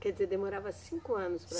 Quer dizer, demorava cinco anos para